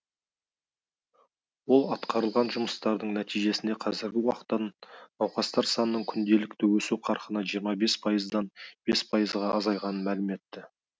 ол атқарылған жұмыстардың нәтижесінде қазіргі уақыттың науқастар санының күнделікті өсу қарқыны жиырма бес пайыздан бес пайызға азайғанын мәлім етті